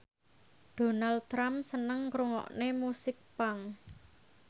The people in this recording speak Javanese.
Donald Trump seneng ngrungokne musik punk